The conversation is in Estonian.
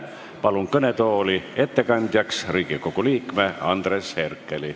Palun kõnetooli ettekandjaks Riigikogu liikme Andres Herkeli.